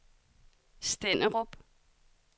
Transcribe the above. Stenderup